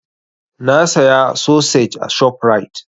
Na saya sosej a ShopRite.